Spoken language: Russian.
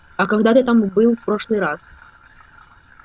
а когда ты там был в прошлый раз